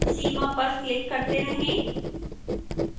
सीमा पर क्लिक करते रहें